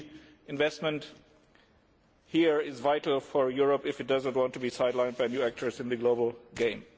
Indeed, investment in that area is vital for Europe if it does not want to be sidelined by new actors in the global game.